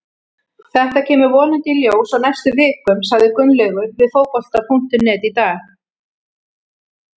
Þetta kemur vonandi í ljós á næstu vikum, sagði Gunnlaugur við Fótbolta.net í dag.